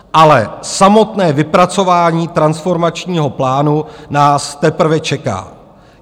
Ale samotné vypracování transformačního plánu nás teprve čeká.